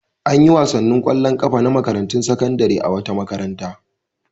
An yi wasannin ƙwallon ƙafa na makarantun sakandare a wata makaranta.